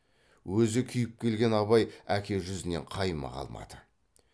өзі күйіп келген абай әке жүзінен қаймыға алмады